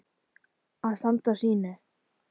Að standa á sínu